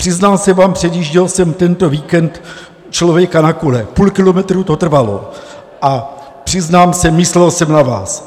Přiznám se vám, předjížděl jsem tento víkend člověka na kole, půl kilometru to trvalo, a přiznám se, myslel jsem na vás.